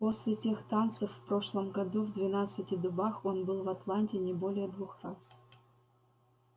после тех танцев в прошлом году в двенадцати дубах он был в атланте не более двух раз